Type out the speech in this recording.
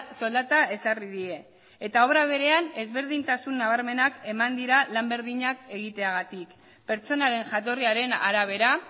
soldata ezarri die eta obra berean ezberdintasun nabarmenak eman dira lan berdinak egiteagatik pertsonaren jatorriaren arabera